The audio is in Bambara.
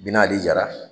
Bi nali jara